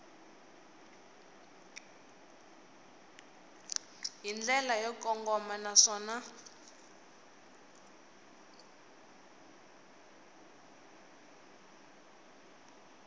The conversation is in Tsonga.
hi ndlela yo kongoma naswona